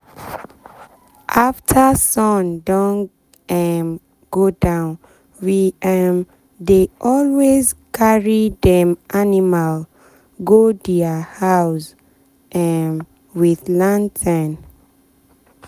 after sun don um go downwe um dey always carry dem animal go dia house um with lantern.